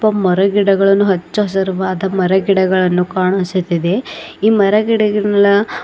ಮರ ಗಿಡಗಳನ್ನು ಹಚ್ಚ ಹಸರವಾದ ಮರ ಗಿಡಗಳನ್ನು ಕಾನುಸುತ್ತದೆ ಈ ಮರ ಗಿಡಗಳನ್ನೆಲ್ಲ --